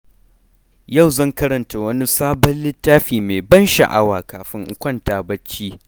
Yau zan karanta wani sabon littafi mai ban sha’awa kafin in kwanta barci.